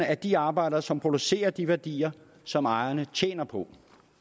af de arbejdere som producerer de værdier som ejerne tjener på